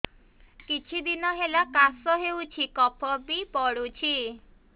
କିଛି ଦିନହେଲା କାଶ ହେଉଛି କଫ ବି ପଡୁଛି